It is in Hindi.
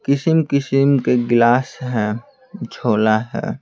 किस्म-किस्म के गिलास है झोला है।